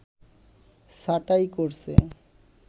ছাঁটাই করছে